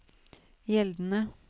gjeldende